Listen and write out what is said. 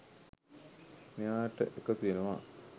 මෙයාට එකතු වෙනවා.